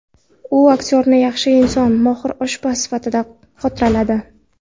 U aktyorni yaxshi inson, mohir oshpaz sifatida xotirladi.